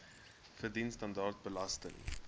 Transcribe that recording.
verdien standaard belasting